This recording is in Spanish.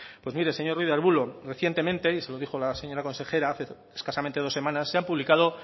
pues mire señor ruiz de arbulo recientemente y se lo dijo la señora consejera hace escasamente dos semanas se han publicado